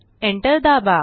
enter दाबा